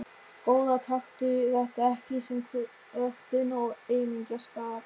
Góða taktu þetta ekki sem kvörtun og aumingjaskap.